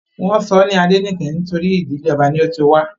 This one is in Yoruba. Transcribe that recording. Wọ́n sọ ọ́ ní Adenike nítorí ìdílé ọba ni ó ti wá